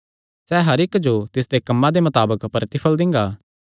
सैह़ हर इक्की जो तिसदे कम्मां दे मताबक प्रतिफल़ दिंगा